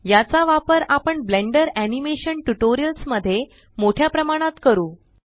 याचा वापर आपण ब्लेंडर एनिमेशन ट्यूटोरियल्स मध्ये मोठ्या प्रमाणात करू